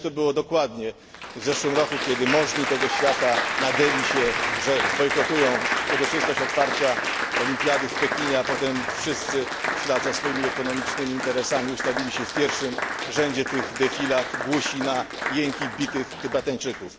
Widać to było dokładnie w zeszłym roku, kiedy możni tego świata nadęli się, że zbojkotują uroczystość otwarcia olimpiady w Pekinie, a potem wszyscy w ślad za swoimi ekonomicznymi interesami ustawili się w pierwszym rzędzie tych defilad, głusi na jęki bitych Tybetańczyków.